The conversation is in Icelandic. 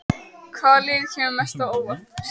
Hvaða lið kemur mest á óvart?